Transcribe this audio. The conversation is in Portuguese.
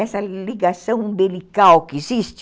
Essa ligação umbilical que existe,